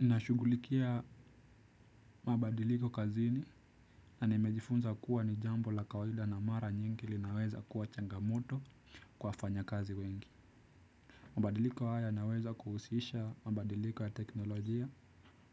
Nashughulikia mabadiliko kazini na nimejifunza kuwa ni jambo la kawaida na mara nyingi linaweza kuwa changamoto kwa wafanyakazi wengi. Mabadiliko haya yanaweza kuhusisha mabadiliko ya teknolojia,